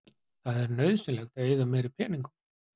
Það er nauðsynlegt að eyða meiri peningum.